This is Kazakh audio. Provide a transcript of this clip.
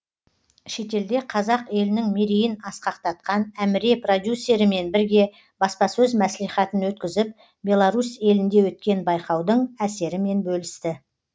шетелде қазақ елінің мерейін асқақтатқан әміре продюсерімен бірге баспасөз мәслихатын өткізіп беларусь елінде өткен байқаудың әсерімен бөлісті